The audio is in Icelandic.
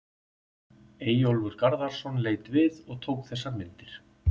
Eyjólfur Garðarsson leit við og tók þessar myndir.